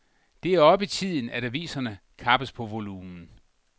Det er oppe i tiden, at aviserne kappes på volumen.